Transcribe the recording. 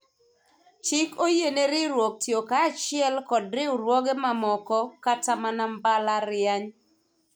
chik oyiene riwruok tiyo kanyachiel kod riwruoge mamoko kata mana mbalariany